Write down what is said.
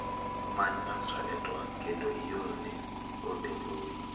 Many Nasra e twak kendo iorne ote mbui.